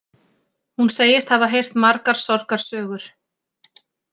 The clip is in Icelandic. Hún segist hafa heyrt margar sorgarsögur